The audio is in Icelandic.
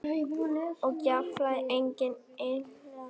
Og jafnvel einnig yngra fólki.